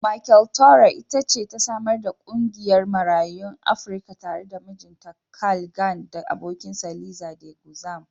Michele Torrey it ce ta samar da ƙungiyar Marayun Afrika tare da mijinta Carl Gann da abokinsa Liza De Guzman.